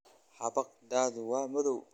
Xabagtaadu waa madow